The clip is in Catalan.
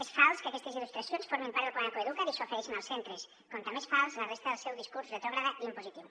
és fals que aquestes il·lustracions formin part del programa coeduca’t i s’ofereixin als centres com també és falsa la resta del seu discurs retrògrad i impositiu